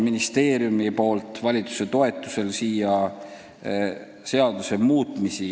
Ministeerium toob valitsuse toetusel teie ette seaduste muutmise eelnõusid.